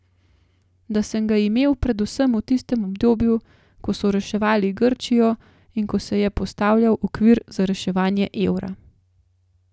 Da, sem ga imel, predvsem v tistem obdobju, ko so reševali Grčijo in ko se je postavljal okvir za reševanje evra.